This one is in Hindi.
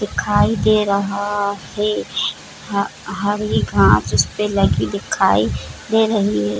दिखाई दे रहा है ह हरे घास उस पे लगी दिखाई दे रही है।